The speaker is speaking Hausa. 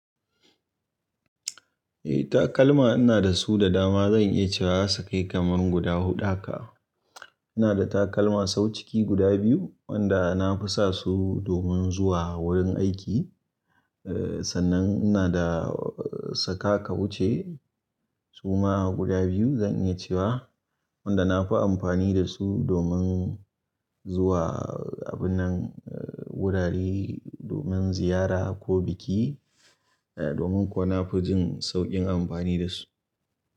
Eh takalma ina da su da dama. Zan iya cewa za su kai kamar guda huɗu haka. Ina da takalma sau ciki guda biyu wanda na fi sa su domin zuwa wurin aiki. Eh, sannan ina da saka ka wuce suma guda biyu zan iya cewa wanda na fi amfani da su domin zuwa abin nan gudare domin ziyara ko biki, eh domin ko na fi jin sauƙin amfani da su.